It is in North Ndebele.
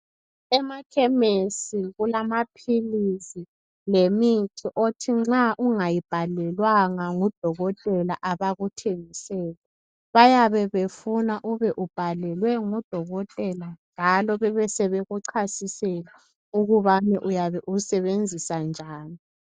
Emakhemisi kulamaphilisi lemithi othi nxa ungayibhalelwanga ngudokotela abakuthengiseli. Bayabe befuna ube ubhalelwe ngudokotela njalo besebekuchasisela ukubana uyabe uyisebenzisa njani.